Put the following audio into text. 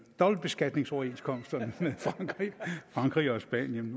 dobbeltbeskatningsoverenskomsterne med frankrig og spanien